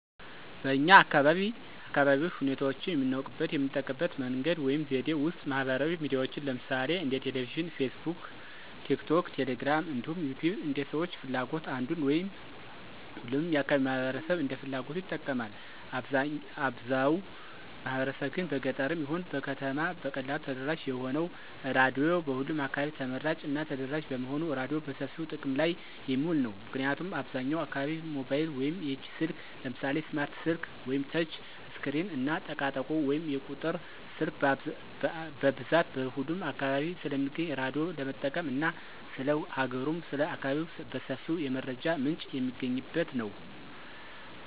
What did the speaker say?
በኛ አካባቢ አካባቢያዊ ሁኔታዎችን የምናውቅበት የምንጠቀምበት መንገድ ወይም ዘዴ ውስጥ ማህበራዊ ሚዲያዎችን ለምሳሌ እንደ ቴሌቪዥን: ፌስቡክ: ቲክቶክ: ቴሌግራም እንዲሁም ዩቲዩብን እንደ ሰዎች ፍላጎት አንዱን ወይም ሁሉንም የአካባቢው ማህበረሰብ እንደ ፍላጎቱ ይጠቀማል። አብዛው ማህበረሰብ ግን በገጠርም ይሁን በከተማ በቀላሉ ተደራሽ የሆነው ራዲዮ በሁሉም አካባቢ ተመራጭ እና ተደራሽ በመሆኑ ራዲዮ በሰፊው ጥቅም ላይ የሚውል ነው። ምክንያቱም አብዛኛው አካባቢ ሞባይል ወይም የእጅ ስልክ ለምሳሌ ስማርት ስልክ ወይም ተች ስክሪን እና ጠቃጠቆ ወይም የቁጥር ስልክ በብዛት በሁሉም አካባቢ ስለሚገኝ ራዳዮ ለመጠቀም እና ስለ ሀገሩም ስለ አካባቢው በሰፊው የመረጃ ምንጭ የሚገኝበት ነው።